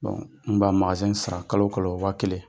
n' ma in sara kalo kɔnɔ waa kelen.